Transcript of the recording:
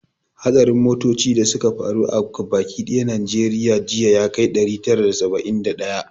Hatsarin motoci da suka faru a gaba ki dayan najeriya jiya ya kai ɗari tara da saba'in da daya